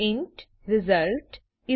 int result 84 2